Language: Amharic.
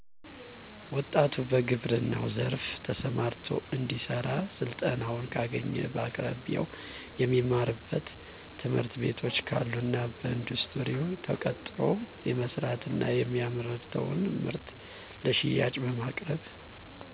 ወጣቱ በግብረናው ዘርፋ ተሰማርቶ እንዲሰራ ስልጠናውን ካገኘ በአቅራቢያው የሚማርበት ትምህርትቤቶች ካሉና በኢንዱስትሪዎች ተቀጥሮ የመስራት እና የሚያመርተውን ምርት ለሽያጭ በማቅረብ